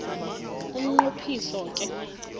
umnqo phiso ke